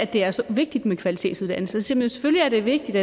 det er så vigtigt med kvalitetsuddannelse selvfølgelig er det vigtigt